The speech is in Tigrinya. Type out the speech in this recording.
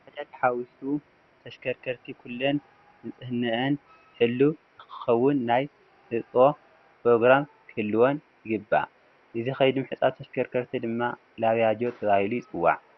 ንባጃጅ ሓዊሱ ተሽከርከርቲ ኩለን ንፅህንአን ሕልው ንክኸውን ናይ ህፅቦ ፕሮግራም ክህልወን ይግባእ፡፡ እዚ ከይዲ ምሕፃብ ተሽከርከርቲ ድማ ላብያጆ ተባሂሉ ይፅዋዕ፡፡